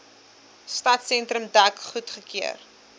stadsentrum dek goedgekeur